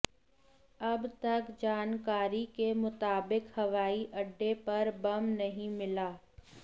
अब तक जानकारी के मुताबिक हवाई अड्डे पर बम नहीं मिला